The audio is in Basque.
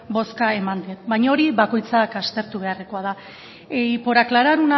boska ematen baina hori bakoitzak aztertu beharrekoa da y por aclarar